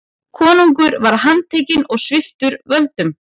Konungur var handtekinn og sviptur völdum.